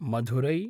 Madurai